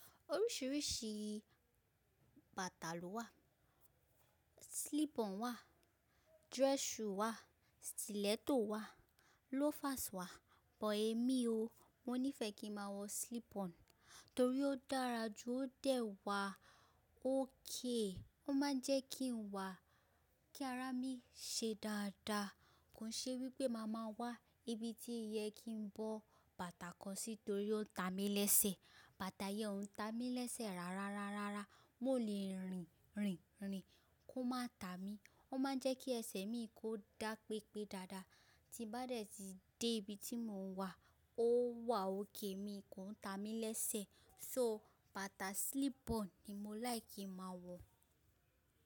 Oríṣìíríṣìí bàtà ló wà, slip on wà, dress shoe wà, stiletto wà, loafers wà, bọ̀ èmi o, mo níí fe kí n máa wọ slip on torí ó dára jù ó dẹ̀ wà ókèé. Ó máa ń jẹ́ kí ń wà kí ara mi ṣe dáadáa. Kò ṣe wí pé màá máa wà ibi tí ìyẹ kí ń bọ́ bàtà kan sí torí ó ń ta mi lẹ́sẹ̀. Bàtà yẹn ó ń ta mi lẹ́sẹ̀ rárárárára. N ò le rìn, rìn, rìn kó má ta mi. Ó máa ń jẹ́ kí ẹsẹ̀ mi kó dá pépé dáadáa tí bá dẹ̀ tí dé ibi tí mò ń wà ó wà ókèe mi kò ń ta mi lẹ́sẹ̀. So bàtà slip on ni mo láì kí máa wọ̀